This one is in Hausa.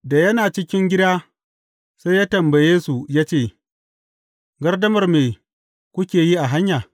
Da yana cikin gida, sai ya tambaye su ya ce, Gardamar me kuke yi a hanya?